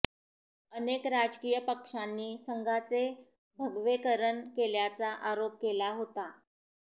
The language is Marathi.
अनेक राजकीय पक्षांनी संघाचे भगवेकरण केल्याचा आरोप केला होता